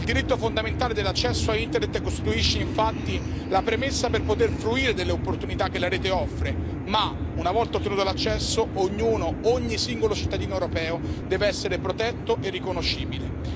Il diritto fondamentale dell'accesso a Internet costituisce, infatti, la premessa per poter fruire delle opportunità che la Rete offre ma, una volta ottenuto l'accesso, ognuno, ogni singolo cittadino europeo deve essere protetto e riconoscibile.